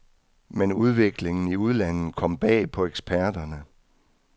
Men udviklingen i udlandet kom bag på eksperterne.